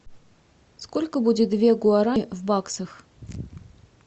сколько будет две гуарани в баксах